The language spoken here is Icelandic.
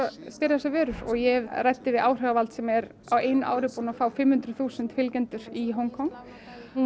þessum vörum ég ræddi við áhrifavald sem er á einu ári búinn að fá fimm hundruð þúsund fylgjendur í Hong Kong hún